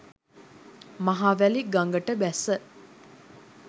මහවැලි ගඟට බැස